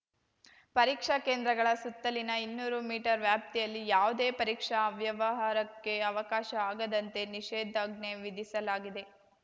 ಪರೀಕ್ಷಾ ಕೇಂದ್ರಗಳ ಸುತ್ತಲಿನ ಇನ್ನೂರು ಮೀಟರ್‌ ವ್ಯಾಪ್ತಿಯಲ್ಲಿ ಯಾವುದೇ ಪರೀಕ್ಷಾ ಅವ್ಯವಹಾರಕ್ಕೆ ಅವಕಾಶ ಆಗದಂತೆ ನಿಷೇಧಾಜ್ಞೆ ವಿಧಿಸಲಾಗಿದೆ